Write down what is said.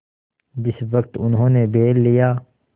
जिस वक्त उन्होंने बैल लिया